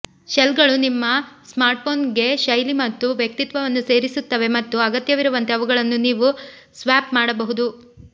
ಶೆಲ್ಗಳು ನಿಮ್ಮ ಸ್ಮಾರ್ಟ್ಫೋನ್ಗೆ ಶೈಲಿ ಮತ್ತು ವ್ಯಕ್ತಿತ್ವವನ್ನು ಸೇರಿಸುತ್ತವೆ ಮತ್ತು ಅಗತ್ಯವಿರುವಂತೆ ಅವುಗಳನ್ನು ನೀವು ಸ್ವ್ಯಾಪ್ ಮಾಡಬಹುದು